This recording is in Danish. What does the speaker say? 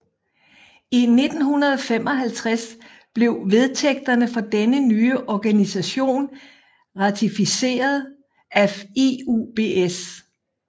I 1955 blev vedtægterne for denne nye organisation ratificeret af IUBS